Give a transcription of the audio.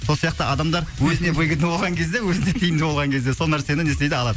сол сияқты адамдар өзіне выгодно болған кезде өзіне тиімді болған кезде сол нәрсені не істейді алады